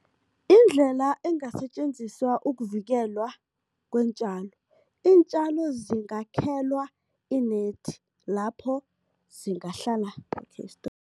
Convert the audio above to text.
Indlela engasetjenziswa ukuvikelwa kweentjalo, iintjalo zingakhelwa i-net, lapho zingahlala